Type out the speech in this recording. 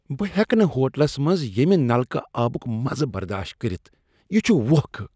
بہٕ ہیٚکہٕ نہٕ ہوٹلس منٛز ییمِہ نلکہٕ آبک مزٕ برداشت کٔرتھ، یہ چھ ووکھٕ۔